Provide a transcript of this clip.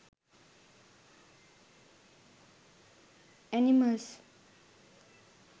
animals